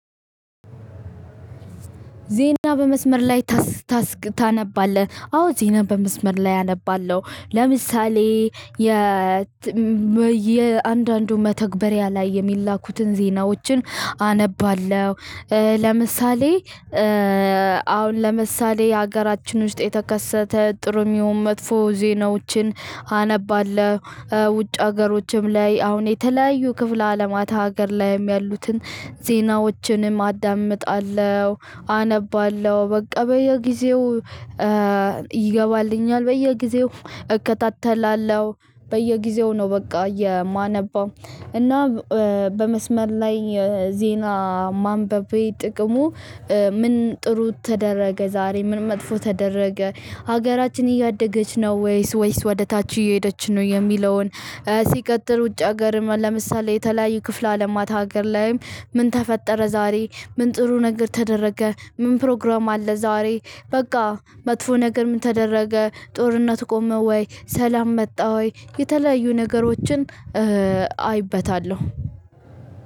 ዜና በመስመር ላይ ታነባለህ? አዎ ዜና በመስመር ላይ አነባለሁ። ለምሳሌ የእያንዳንዱ መተግበሪያ ላይ የሚላኩትን ዜናዎችን አነባለሁ። ለምሳሌ አሁን ለምሳሌ ሀገራችን ውስጥ የተከሰተ ጥሩም ይሁን መጥፎ ዜናዎችን አነባለሁ። ውጭ ሀገሮችም ላይ አሁን የተለያዩ ክፍለ አለማት ሀገር ላይም ያሉትን ዜናዎችንም አዳምጣለሁ። አነባለሁ በቃ በየጊዜው ይገባልኛል፤ በየጊዜው እከታተላለሁ። በየጊዜው ነው በቃ የማነበው እና በመስመር ላይ ዜና ማንበቤ ጥቅሙ ምን ጥሩ ተደረገ ዛሬ፤ ምን መጥፎ ተደረገ፤ ሀገራችን እያደገች ነው ወይስ ወይስ ወደ ታች እየሄደች ነው? የሚለውን ውጭ ሀገር ለምሳሌ የተለያየ ክፍለ አለማት ሀገር ላይም ምን ተፈጠረ? ዛሬ ምን ጥሩ ነገር ተደረገ? ምን ፕሮግራም አለ ዛሬ በቃ መጥፎ ነገር ምን ተደረገ? ጦርነት ቆመ ወይ? ሰላም መጣ ወይ? የተለያዩ ነገሮችን አይበታለሁ።